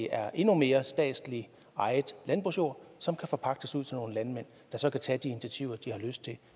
er endnu mere statsligt ejet landbrugsjord som kan forpagtes ud til nogle landmænd der så kan tage de initiativer de har lyst til